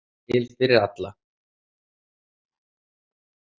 Nóg var til fyrir alla.